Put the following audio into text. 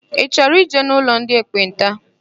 Ị chọrọ ịje n'ụlọ ndị ekpenta?